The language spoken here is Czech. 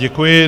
Děkuji.